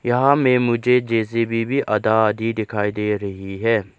यहां में मुझे जे_सी_बी भी आधा आधी दिखाई दे रही है।